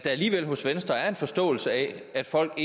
alligevel hos venstre er en forståelse af at folk